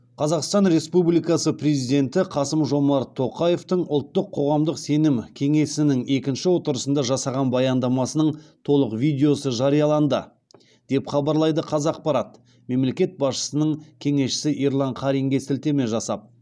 қазақстан республикасы президенті қасым жомарт тоқаевтың ұлттық қоғамдық сенім кеңесінің екінші отырысында жасаған баяндамасының толық видеосы жарияланды деп хабарлайды қазақпарат мемлекет басшысының кеңесшісі ерлан қаринге сілтеме жасап